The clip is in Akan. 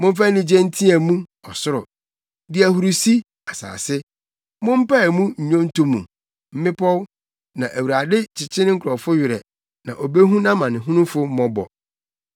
Momfa anigye nteɛ mu, ɔsoro; di ahurusi, asase; mompae mu nnwonto mu, mmepɔw! Na Awurade kyekye ne nkurɔfo werɛ, na obehu nʼamanehunufo mmɔbɔ.